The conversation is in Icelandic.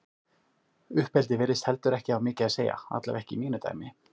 Uppeldi virðist heldur ekki hafa mikið að segja, allavega ekki í mínu dæmi.